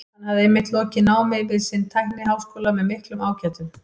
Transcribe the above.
Hann hafði einmitt lokið námi við sinn tækniháskóla með miklum ágætum.